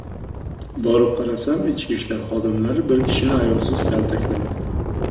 Borib qarasam, ichki ishlar xodimlari bir kishini ayovsiz kaltaklamoqda.